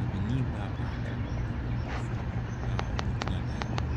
Bibini baa baako ne Mmorɔfo nnum a wɔgyina dan bi mu.